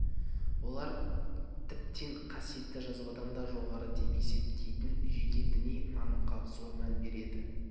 олар тіптен қасиетті жазбаданда жоғары деп есептейтін жеке діни нанымға зор мән береді